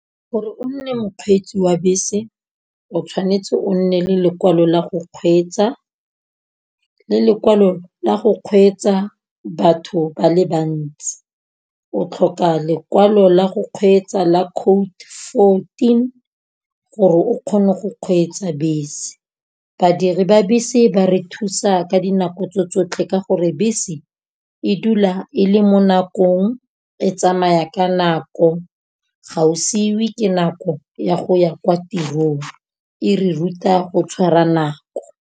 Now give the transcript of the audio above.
Gore o nne mokgweetsi wa bese o tshwanetse o nne le lekwalo la go kgweetsa, le lekwalo la go kgweetsa batho ba le bantsi. O tlhoka lekwalo la go kgweetsa la code fourteen gore o kgone go kgweetsa bese. Badiri ba bese ba re thusa ka dinako tse tsotlhe ka gore bese, e dula e le mo nakong e tsamaya ka nako, ga o siwe ke nako ya go ya kwa tirong e re ruta go tshwara nako.